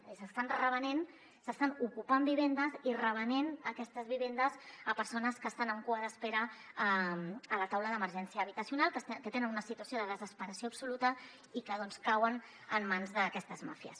és a dir s’estan ocupant vivendes i revenent aquestes vivendes a persones que estan en cua d’espera a la taula d’emergència habitacional que tenen una situació de desesperació absoluta i que doncs cauen en mans d’aquestes màfies